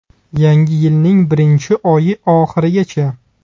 Yangi yilning birinchi oyi oxirigacha!